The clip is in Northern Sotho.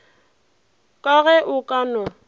ka ge o ka no